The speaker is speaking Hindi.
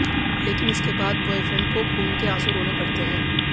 लेकिन इसके बाद ब्वॉयफ्रेंड को खून के आंसू रोने पड़ते हैं